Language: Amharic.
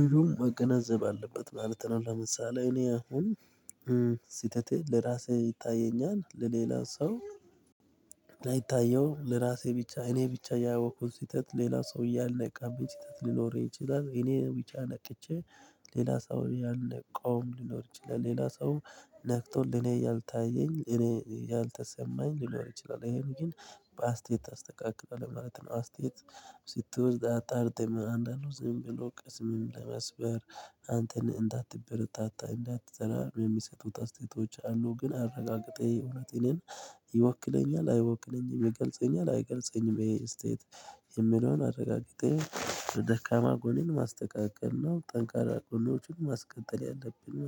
ልጁም መገናዘብ አለበት ማለት ነው። ለምሳሌ እኔ አሁን ስህተቴ ለራሴ ይታየኛል ለሌላ ሰው ላይታየው ለራሴ ብቻ እኔ ብቻ ያወቅኩት ስተት ሌላ ሰው ያልነቃብኝ ስተት ሊኖር ይችላል። እኔ ውጫ ነቅቼ ሌላ ሰው ያለ ቆም ሊኖር ይችላል። ሌላ ሰው ነክቶ ለኔ ያልታየኝ እኔ ያልተሰማኝ ሊኖር ይችላል። ይሄን ግን በአስተያየት አስተካክሏል ማለት ነው። አስቴት ስትወድ አጣርቴም አንዳንዱ ዝም ብሎ ቅስምም ለመስበር አንተን እንዳትበረታታ እንዳትሰራ የሚሰጡት አስተያየቶች አሉ። ግን አረጋግጠኝ እውነት እኔን ይወክለኛል አይወክለኝም ይገልጸኛል አይገልጸኝም ይሄ ስቴት። የምለውን አረጋግጠህ ደካማ ጎኔን ማስተካከል ነው። ጠንካራ ጎኔኖችን ማስቀጠል ያለብን